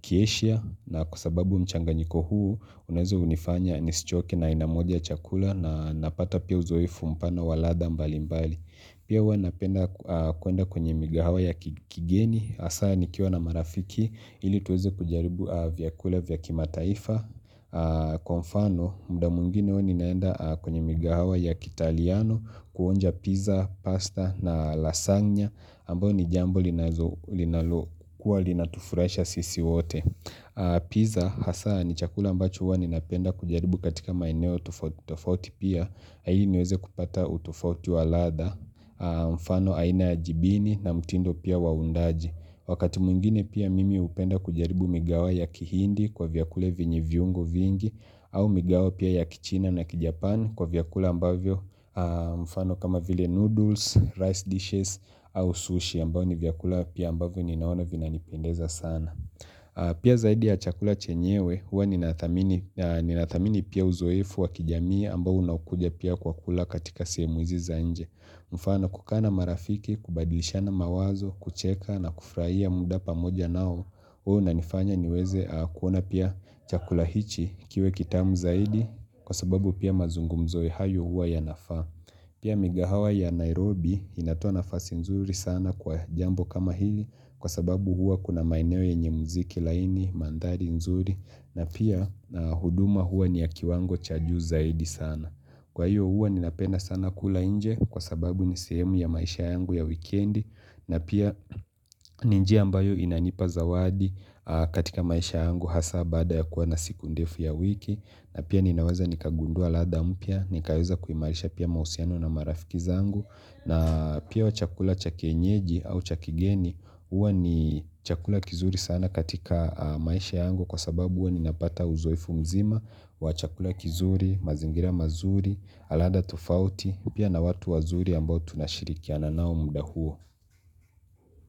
kieshia. Na kwa sababu mchanganyiko huu, unawezo hunifanya nisichoke na aina moja ya chakula na napata pia uzoefu mpana wa ladha mbali mbali. Pia huwa napenda kuenda kwenye migahawa ya kigeni, hasaa nikiwa na marafiki, ili tuweze kujaribu vyakula vya kimataifa Kwa mfano, mda mwingine huwa ninaenda kwenye migahawa ya kitaliano kuonja pizza, pasta na lasagna ambayo ni jambo linalokuwa linatufurahisha sisi wote Pizza, hasa ni chakula ambacho huwa ninapenda kujaribu katika maeneo tofauti tofauti pia ili niweze kupata utofauti wa ladha, mfano aina ya jibini na mtindo pia wa uundaji. Wakati mwingine pia mimi hupenda kujaribu migawa ya kihindi kwa vyakule vyenye viungo vingi au migawa pia ya kichina na kijapan kwa vyakula ambavyo mfano kama vile noodles, rice dishes au sushi ambavyo ni vyakula pia ambavyo ninaona vinanipendeza sana Pia zaidi ya chakula chenyewe huwa ninathamini pia uzoefu wa kijamii ambao unakujia pia kwa kula katika semu hizi za nje. Mfano kukaa na marafiki kubadilishana mawazo kucheka na kufuraia muda pamoja nao huwa inanifanya niweze kuona pia chakula hichi kiwe kitamu zaidi kwa sababu pia mazungumzo hayo huwa yanafaa. Pia migahawa ya Nairobi inatoa nafasi nzuri sana kwa jambo kama hili kwa sababu huwa kuna maeneo yenye mziki laini mandhari nzuri na pia na huduma huwa ni ya kiwango cha juu zaidi sana. Kwa hiyo huwa ninapenda sana kula nje kwa sababu ni sehemu ya maisha yangu ya weekendi na pia ni njia mbayo inanipa zawadi katika maisha yangu hasaa baada ya kuwa na siku ndefu ya wiki na pia ninaweza nikagundua ladha mpya, nikaweza kuimarisha pia mahusiano na marafiki zangu na pia wa chakula cha kienyeji au cha kigeni huwa ni chakula kizuri sana katika maisha yangu kwa sababu ninapata uzoefu mzima, wa chakula kizuri, mazingira mazuri, ladha tofauti, pia na watu wazuri ambao tunashirikiana nao muda huo.